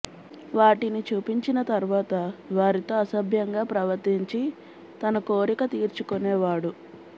వాటిని చూపించిన తర్వాత వారితో అసభ్యంగా ప్రవర్తించి తన కోరిక తీర్చుకొనేవాడు